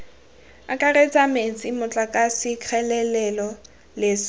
akaretsa metsi motlakase kgelelo leswe